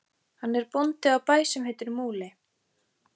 Hann er bóndi á bæ sem heitir Múli.